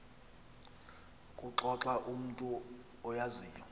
kuxoxa umntu oyaziyo